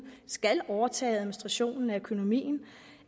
skal overtage administrationen af økonomien